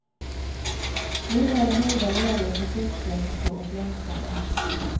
Nu var det höjda löner för sjuksköterskor och läkare.